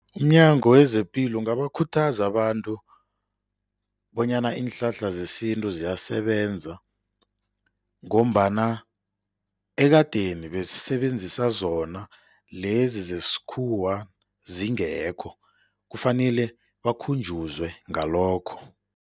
UmNyango wezePilo ungabakhuthaza abantu bonyana iinhlahla zesintu ziyasebenzela ngombana ekadeni besisebenzisa zona, lezi zesikhuwa zingekho, kufanele bakhunjuzwe ngalokho.